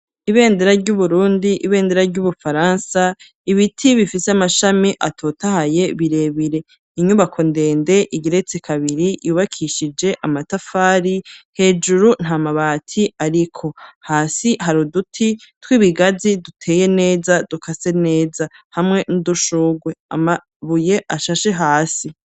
ibendera ry'uburundi, ibendera ry'ubufaransa, ibiti bifise amashami atotahaye birebire, inyubako ndende igiretse kabiri yubakishije amatafari hejuru nta mabati ariko, hasi hari uduti tw'ibigazi duteye neza dukase neza hamwe n'udushugwe, amabuye ashashe hasi.